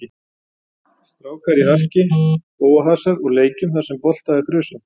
Strákar í harki, bófahasar og leikjum þar sem bolta er þrusað.